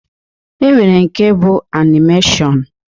E nwere nke bụ anịmeshiọn.